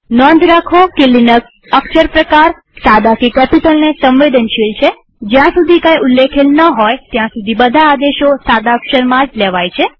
નોંધ રાખો કે લિનક્સ અક્ષર પ્રકારસાદા કે કેપિટલને સંવેદનશીલ છેજ્યાં સુધી કઈ ઉલ્લેખેલ ન હોય ત્યાં સુધી બધા આદેશો સાદા અક્ષરમાં જ લેવાય છે